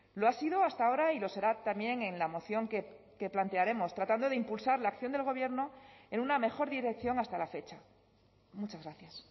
lo ha sido hasta ahora y lo será también en la moción que plantearemos tratando de impulsar la acción del gobierno en una mejor dirección hasta la fecha muchas gracias